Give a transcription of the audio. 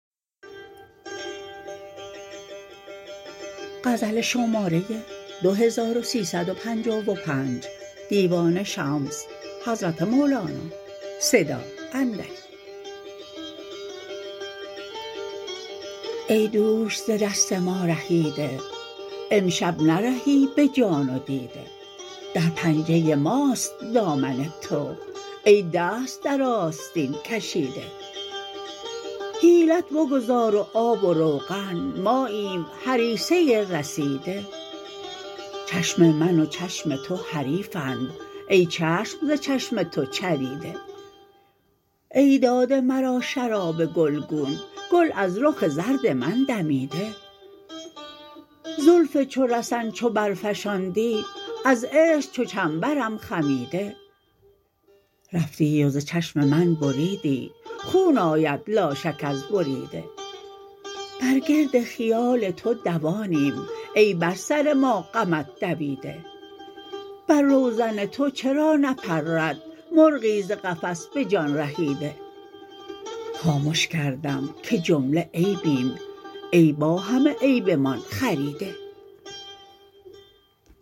ای دوش ز دست ما رهیده امشب نرهی به جان و دیده در پنجه ماست دامن تو ای دست در آستین کشیده حیلت بگذار و آب و روغن ماییم هریسه رسیده چشم من و چشم تو حریفند ای چشم ز چشم تو چریده ای داده مرا شراب گلگون گل از رخ زرد من دمیده زلف چو رسن چو برفشاندی از عشق چو چنبرم خمیده رفتی و ز چشم من بریدی خون آید لاشک از بریده بر گرد خیال تو دوانیم ای بر سر ما غمت دویده بر روزن تو چرا نپرد مرغی ز قفس به جان رهیده خامش کردم که جمله عیبیم ای با همه عیبمان خریده